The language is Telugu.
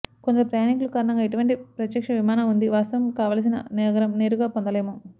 కొందరు ప్రయాణీకులు కారణంగా ఎటువంటి ప్రత్యక్ష విమాన ఉంది వాస్తవం కావలసిన నగరం నేరుగా పొందలేము